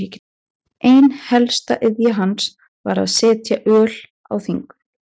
Óreiða stafa í orðum er hins vegar minna háð textasafninu.